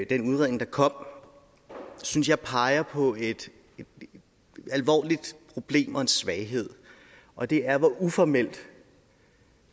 den udredning der kom synes jeg peger på et alvorligt problem og en svaghed og det er hvor uformelt